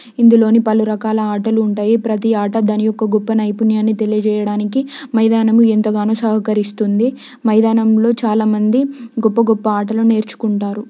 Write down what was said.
ఇందులోని పలు రకాల ఆటలు ఉంటాయి. ప్రతి ఆట దాని యొక్క గొప్ప నైపుణ్యాన్ని తెలియజేయడానికి మైదానం ఎంతగానో సహకరిస్తుంది. మైదానంలో చాలా మంది గొప్ప గొప్ప ఆటలు నేర్చుకుంటారు.